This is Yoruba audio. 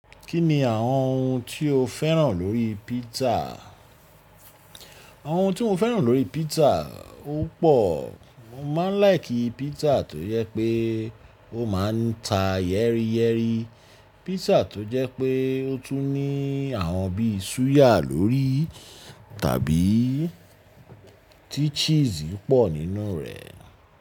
Kí ni àwọn ohun tí o féràn lórí pizza? Àwọn ohun tí mo féràn lórí pizza, ó pò. Mo máa ń láìkì pizza tó jẹ́ pé ó máa ń ta yẹ́rìyẹ́rì, pizza tó jẹ́ pé ó tún ní àwọn bíi súyà lórí tàbí tí cheese pọ̀ nínú rẹ̀.